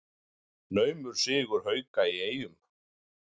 Naumur sigur Hauka í Eyjum